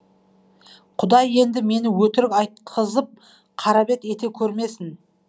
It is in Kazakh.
құдай енді мені өтірік айтқызып қарабет ете көрмесін